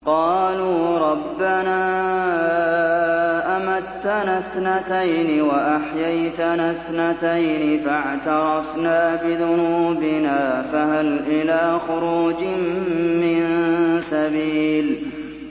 قَالُوا رَبَّنَا أَمَتَّنَا اثْنَتَيْنِ وَأَحْيَيْتَنَا اثْنَتَيْنِ فَاعْتَرَفْنَا بِذُنُوبِنَا فَهَلْ إِلَىٰ خُرُوجٍ مِّن سَبِيلٍ